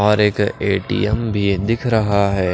और एक ए_टी_एम भी दिख रहा है।